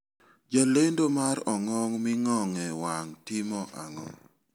Jalendo mar ong'ong ming'ong'e wang' timo ang'o?